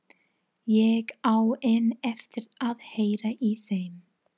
Ég á enn eftir að heyra í þeim.